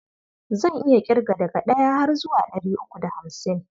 Zan iya ƙirga daga ɗaya har zuwa ɗari uku da hamsin.